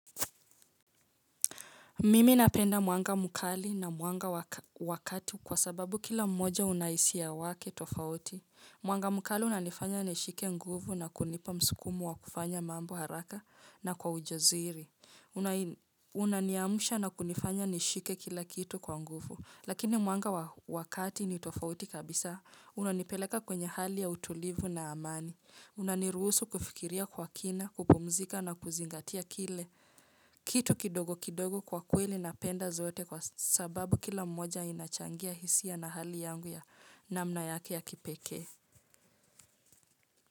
Mimi napenda mwanga mkali na mwanga wa kati kwa sababu kila mmoja una hisia wake tofauti. Mwanga mkali unanifanya nishike nguvu na kunipa msukumo wa kufanya mambo haraka na kwa ujasiri. Unaniamsha na kunifanya nishike kila kitu kwa nguvu. Lakini mwanga wa kati ni tofauti kabisa. Unanipeleka kwenye hali ya utulivu na amani. Unaniruhusu kufikiria kwa kina, kupumzika na kuzingatia kile. Kitu kidogo kidogo kwa kweli napenda zote kwa sababu kila mmoja inachangia hisia na hali yangu ya namna yake ya kipekee.